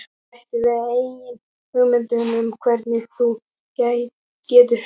Bættu við eigin hugmyndum um hvernig þú getur LIFAÐ